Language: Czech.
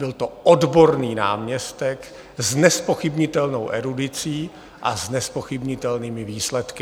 Byl to odborný náměstek s nezpochybnitelnou erudicí a s nezpochybnitelnými výsledky.